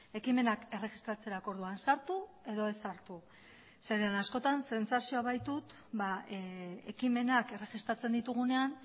ekimenak erregistratzerako orduan sartu edo ez sartu zeren askotan zentzazioa baitut ekimenak erregistratzen ditugunean